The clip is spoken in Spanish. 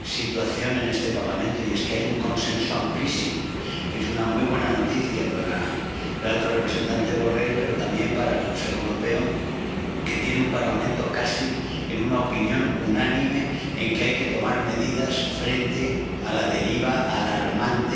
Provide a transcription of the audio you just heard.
situación en este Parlamento y es que hay un consenso amplísimo, que es una muy buena noticia para el alto representante Borrell, pero también para el Consejo Europeo, que tiene un Parlamento casi con la opinión unánime de que hay que tomar medidas frente a la deriva alarmante